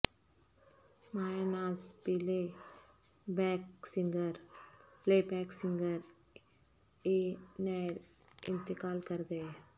مایہ ناز playback singer A Nayyar انتقال کرگئے